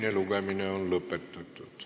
Teine lugemine on lõpetatud.